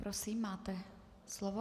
Prosím, máte slovo.